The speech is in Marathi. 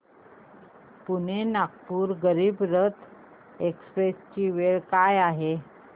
पुणे नागपूर गरीब रथ एक्स्प्रेस ची वेळ काय आहे